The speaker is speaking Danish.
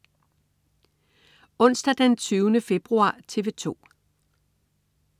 Onsdag den 20. februar - TV 2: